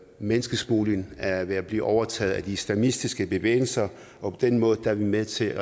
menneskesmugling er ved at blive overtaget af de islamistiske bevægelser og på den måde er vi med til